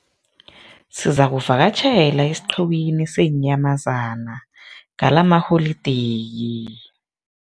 Sizakuvakatjhela esiqhiwini seenyamazana ngalamaholideyi.